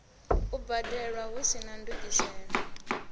u badelwa hu sina ndungiselo